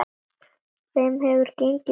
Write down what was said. Þeim hefur gengið mjög vel.